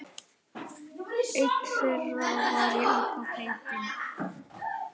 Einn þeirra var Jakob heitinn